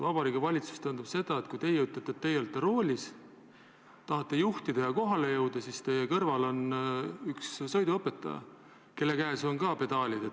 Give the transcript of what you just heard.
Ma mõtlen seda, et kui teie olete Vabariigi Valitsuses nagu roolis, tahate juhtida ja kohale jõuda, siis teie kõrval on sõiduõpetaja, kelle valduses on ka pedaalid.